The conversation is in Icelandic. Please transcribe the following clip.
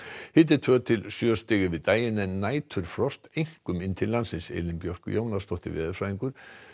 hiti tvö til sjö stig yfir daginn en næturfrost einkum inn til landsins Elín Björk Jónasdóttir veðurfræðingur